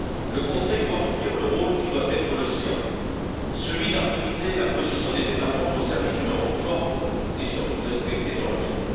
Le Conseil doit remplir le rôle qui doit être le sien, celui d'harmoniser la position des États membres au service d'une Europe forte et, surtout, respectée dans le monde.